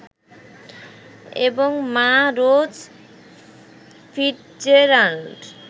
এবং মা Rose Fitzgerald